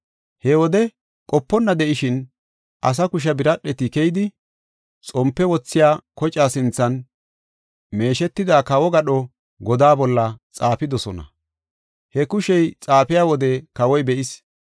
He wode qoponna de7ishin, asa kushe biradheti keyidi, xompe wothiya kocaa sinthan, meeshetida kawo gadho godaa bolla xaafidosona. He kushey xaafiya wode kawoy be7is.